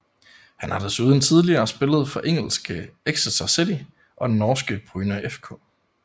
Han har desuden tidligere spillet for engelske Exeter City og norske Bryne FK